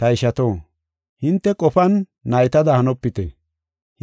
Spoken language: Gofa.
Ta ishato, hinte qofan naytada hanopite.